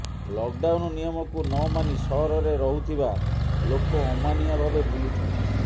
lockdown ନିୟମକୁ ନମାନି ସହରରେ ରହୁଥିବା ଲୋକ ଅମାନିଆ ଭାବେ ବୁଲୁଛନ୍ତି